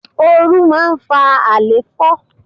Oru máa ń fa alefo.